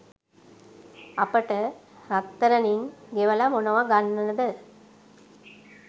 අපට රත්තරනින් ගෙවලා මොනවා ගන්නද.